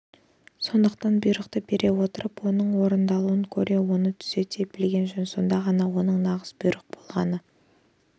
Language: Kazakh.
сондықтан бұйрықты бере отырып оның орындалуын көре оны түзете білген жөн сонда ғана оның нағыз бұйрық болғаны